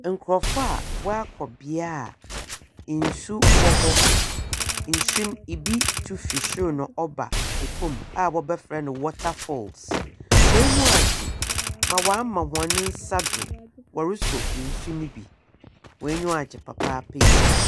Nkurɔfoɔ a wɔakɔ beae a nsu wɔ hɔ. Nsu no, ibi tu fi soro na ɔba fam a wɔbɛfrɛ no watterfalls. Hɔn anyiwa agye, wɔama hɔn nsa do wɔresɔ nsu no bi. Hɔn anyiwa agye papaapa yie.